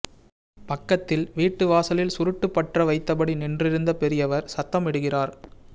பக்கத்தில் வீட்டு வாசலில் சுருட்டு பற்ற வைத்தபடி நின்றிருந்த பெரியவர் சத்தமிடுகிறார்